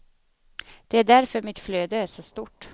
Det är därför mitt flöde är så stort.